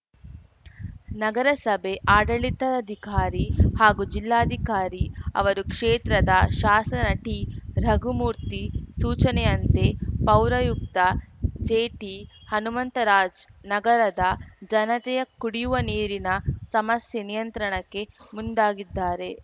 ನಗರಸಭೆ ಆಡಳಿತಾಧಿಕಾರಿ ಹಾಗೂ ಜಿಲ್ಲಾಧಿಕಾರಿ ಅವರು ಕ್ಷೇತ್ರದ ಶಾಸ ಟಿರಘುಮೂರ್ತಿ ಸೂಚನೆಯಂತೆ ಪೌರಾಯುಕ್ತ ಜೆಟಿ ಹನುಮಂತರಾಜ್ ನಗರದ ಜನತೆಯ ಕುಡಿಯುವ ನೀರಿನ ಸಮಸ್ಯೆ ನಿಯಂತ್ರಣಕ್ಕೆ ಮುಂದಾಗಿದ್ದಾರೆ